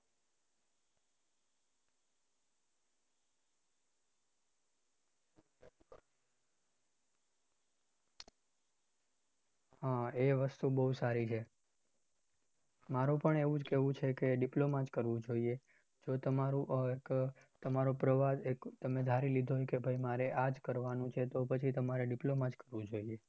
હમ એ વસ્તુ બહુ સારી છે, મારું પણ એવુ જ કહેવું છે કે diploma જ કરવું જોઈએ, જો તમારો આહ એક તમારો પ્રવાહ એક તમે ધારી લીધું હોઈં કે ભાઈ મારે આજ કરવાનું છે તો પછી તમારે diploma જ કરવું જોઈએ.